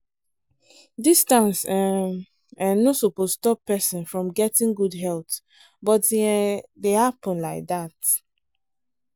distance um um no suppose stop person from getting good health but e um dey happen like that.